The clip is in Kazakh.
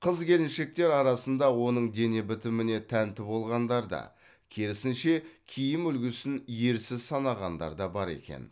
қыз келіншектер арасында оның дене бітіміне тәнті болғандар да керісінше киім үлгісін ерсі санағандар да бар екен